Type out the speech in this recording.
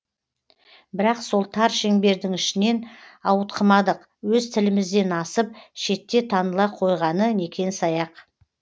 бірақ сол тар шеңбердің ішінен ауытқымадық өз тілімізден асып шетте таныла қойғаны некен саяқ